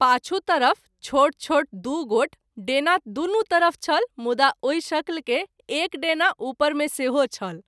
पाछू तरफ छोट छोट दू गोट डेना दुनू तरफ छल मुदा ओहि शक्ल के एक डेना उपर मे सेहो छल।